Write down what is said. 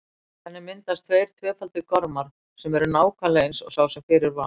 Þannig myndast tveir tvöfaldir gormar sem eru nákvæmlega eins og sá sem fyrir var.